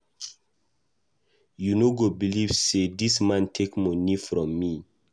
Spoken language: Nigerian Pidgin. You no go believe say dis man take money from me.